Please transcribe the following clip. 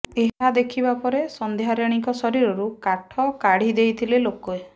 ଏହା ଦେଖିବା ପରେ ସଂଧ୍ୟାରାଣୀଙ୍କ ଶରୀରରୁ କାଠ କାଢି ଦେଇଥିଲେ ଲୋକେ